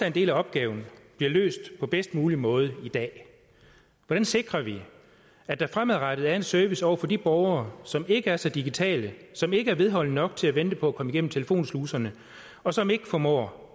en del af opgaven bliver løst på bedst mulig måde i dag hvordan sikrer vi at der fremadrettet er en service over for de borgere som ikke er så digitale som ikke er vedholdende nok til at vente på at komme igennem telefonsluserne og som ikke formår